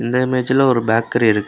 இந்த இமேஜ்ல ஒரு பேக்கரி இருக்கு.